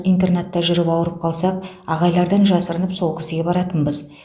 интернатта жүріп ауырып қалсақ ағайлардан жасырынып сол кісіге баратынбыз